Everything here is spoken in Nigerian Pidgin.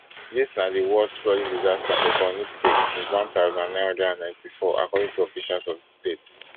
dis na di worst flooding disaster for borno state since one thousand, nine hundred and ninety-four according to officials of di state